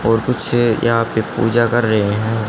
और कुछ यहां पे पूजा कर रहे है।